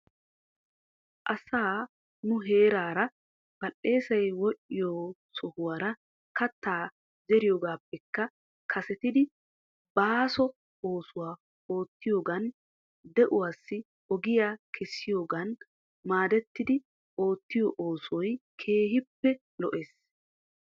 Asa nu heeraara badheesay wodhdhiyo sohuwaara katta zeriyoogapekka kasetidi baaso oosuwa oottiyoogan di''uwaasi ogiya kessiyoogan maadetidi oottiyo oosoy keehippe lo'es.